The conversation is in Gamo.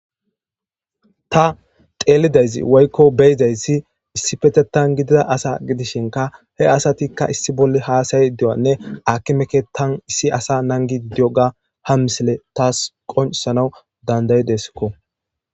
Ta xeelidaysi woykko beyizayssi issi petetan gidida asa gidishinka he asatikka issi bolle haasayi de7anne aki meke tan issi asa nangi idiyo ga ha misile taas qonsana dandayideskko.